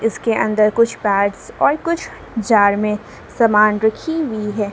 इसके अंदर कुछ पार्ट्स और कुछ जार में सामान रखी हुई है।